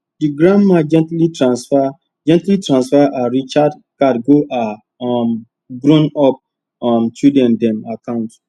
the grandma gently transfer gently transfer her recharge card go her um grownup um children dem account